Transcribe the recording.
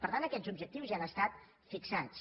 per tant aquests objectius ja han estat fixats